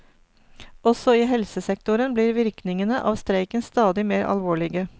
Også i helsesektoren blir virkningene av streiken stadig mer alvorlige.